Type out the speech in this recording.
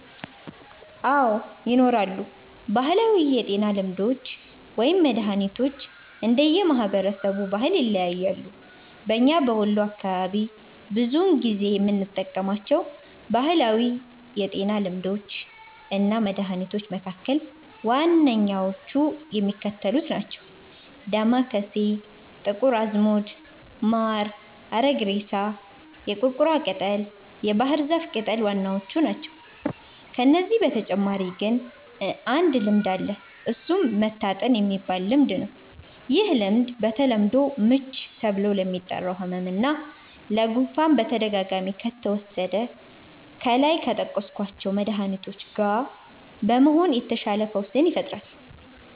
አዎ! ይኖራሉ። ባህላዊ የጤና ልምዶች ወይም መድሀኒቶች እንደየ ማህበረሰቡ ባህል ይለያያሉ። በኛ በወሎ አካባቢ ብዙውን ጊዜ የምንጠቀማቸው ባህላዊ የጤና ልምዶች እና መድሀኒቶች መካከል ዋነኛዎቹ የሚከተሉት ናቸው። ዳማከሴ፣ ጥቁር አዝሙድ፣ ማር፣ አረግሬሳ፣ የቁርቁራ ቅጠል፣ የባህር ዛፍ ቅጠል ዋናዎቹ ናቸው። ከነዚህ በተጨማሪ ግን አንድ ልምድ አለ እሱም "መታጠን"የሚባል ልምድ፤ ይህ ልምድ በተለምዶ "ምች" ተብሎ ለሚጠራው ህመም እና ለ"ጉፋን"በተደጋጋሚ ከተወሰደ ከላይ ከጠቀስኳቸው መድሀኒቶች ጋ በመሆን የተሻለ ፈውስን ይፈጥራል።